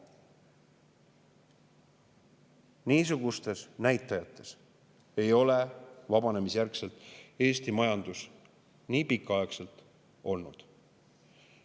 Niisuguseid näitajaid ei ole Eesti majanduses vabanemisjärgselt nii pikaaegselt olnudki.